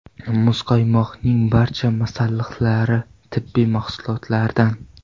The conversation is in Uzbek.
Muzqaymoqning barcha masalliqlari tabiiy mahsulotlardan.